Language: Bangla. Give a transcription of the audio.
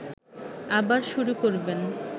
আবার শুরু করবেন